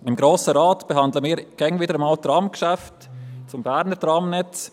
Im Grossen Rat behandeln wir ab und an Tramgeschäfte zum Berner Tramnetz;